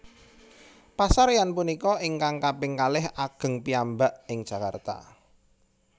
Pasaréyan punika ingkang kaping kalih ageng piyambak ing Jakarta